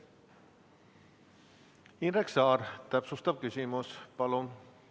Indrek Saar, täpsustav küsimus, palun!